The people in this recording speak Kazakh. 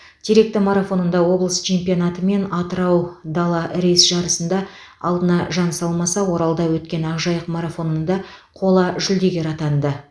теректі марафонында облыс чемпионаты мен атырау дала рэйс жарысында алдына жан салмаса оралда өткен ақжайық марафонында қола жүлдегер атанды